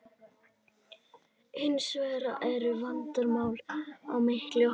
Hins vegar eru engin vandamál á milli okkar.